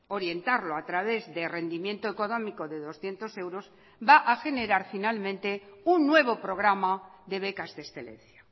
orientarlo a través de rendimiento económico de doscientos euros va a generar finalmente un nuevo programa de becas de excelencia